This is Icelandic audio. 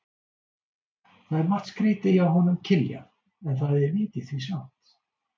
Það er margt skrýtið hjá honum Kiljan, en það er vit í því samt.